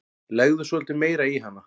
Legðu svolítið meira í hana.